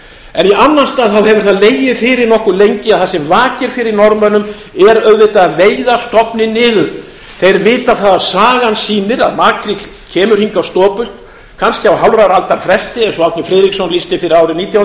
en í annan stað hefur það legið fyrir nokkuð lengi að það sem vakir fyrir norðmönnum er auðvitað að veiða stofninn niður þeir vita það að sagan sýnir að makríll kemur hingað stopult kannski á hálfrar aldar fresti eins og árni friðriksson lýsti fyrir árið nítján